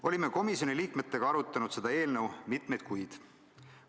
Olime komisjoni liikmetega arutanud seda eelnõu mitmeid kuid.